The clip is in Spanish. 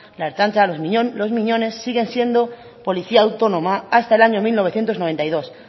la ertzaintza los miñones siguen siendo policía autónoma hasta el año mil novecientos noventa y dos